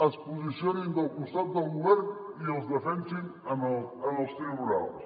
es posicionin del costat del govern i els defensin en els tribunals